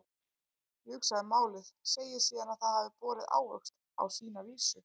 Ég hugsa málið, segi síðan að það hafi borið ávöxt á sína vísu.